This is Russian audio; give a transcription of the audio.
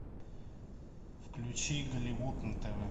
включи голливуд на тв